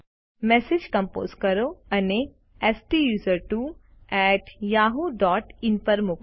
message compose કરો અને સ્ટુસર્ટવો એટી યાહૂ ડોટ ઇન પર મોકલો